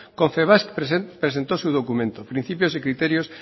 confebask presentó su documento principios y criterios